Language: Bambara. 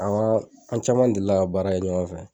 an caman delila ka baara kɛ ɲɔgɔn fɛ